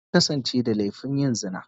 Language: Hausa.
Ta kasance da laifin yin zina.